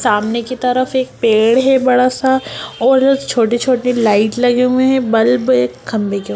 सामने के तरफ एक पेड़ है बड़ा सा और एक छोटे-छोटे लाइट लगे हुए हैं बल्ब एक खंभे के --